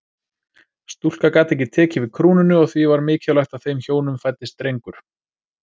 Stúlka gat ekki tekið við krúnunni og því var mikilvægt að þeim hjónum fæddist drengur.